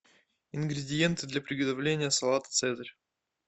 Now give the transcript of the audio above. ингредиенты для приготовления салата цезарь